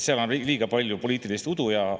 Seal on liiga palju poliitilist udu ja häma.